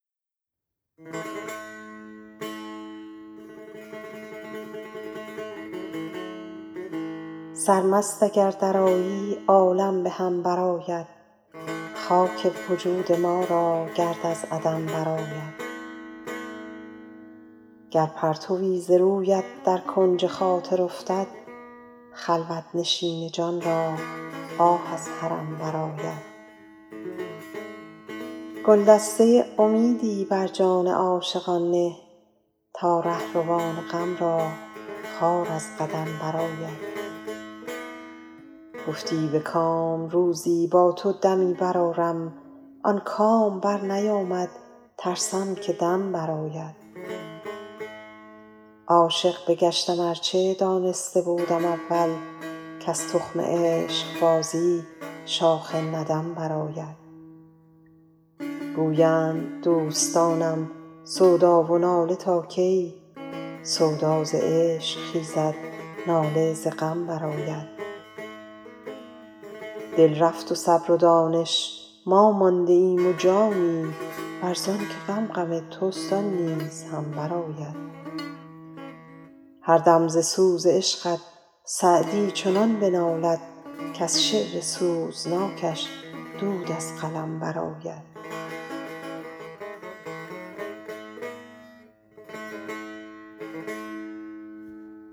سرمست اگر درآیی عالم به هم برآید خاک وجود ما را گرد از عدم برآید گر پرتوی ز رویت در کنج خاطر افتد خلوت نشین جان را آه از حرم برآید گلدسته امیدی بر جان عاشقان نه تا رهروان غم را خار از قدم برآید گفتی به کام روزی با تو دمی برآرم آن کام برنیامد ترسم که دم برآید عاشق بگشتم ار چه دانسته بودم اول کز تخم عشقبازی شاخ ندم برآید گویند دوستانم سودا و ناله تا کی سودا ز عشق خیزد ناله ز غم برآید دل رفت و صبر و دانش ما مانده ایم و جانی ور زان که غم غم توست آن نیز هم برآید هر دم ز سوز عشقت سعدی چنان بنالد کز شعر سوزناکش دود از قلم برآید